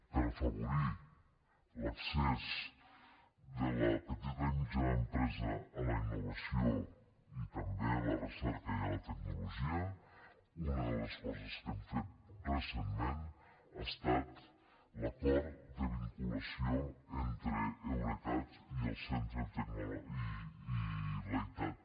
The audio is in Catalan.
per afavorir l’accés de la petita i mitjana empresa a la innovació i també a la recerca i a la tecnologia una de les coses que hem fet recentment ha estat l’acord de vinculació entre eurecat i leitat